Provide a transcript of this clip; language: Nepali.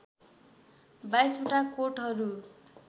२२ वटा कोटहरू